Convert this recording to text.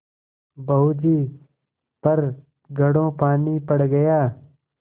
बहू जी पर घड़ों पानी पड़ गया